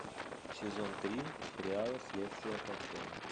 сезон три сериала следствие по телу